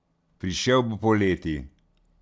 Prišel bo poleti.